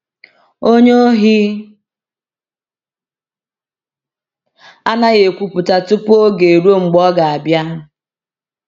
onye Ohi anaghị ekwupụta tupu oge eruo mgbe ọ ga-abịa.